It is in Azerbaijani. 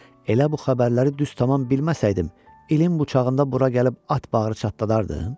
Elə bu xəbərləri düz tam bilməsəydim, ilin bu çağında bura gəlib at bağrı çatdadardım?